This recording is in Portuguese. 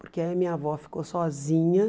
Porque aí minha avó ficou sozinha.